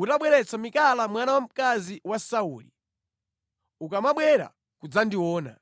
utabweretsa Mikala mwana wamkazi wa Sauli, ukamabwera kudzandiona.”